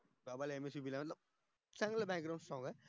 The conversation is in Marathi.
बाबा ला दिल चांगलं background सांग हा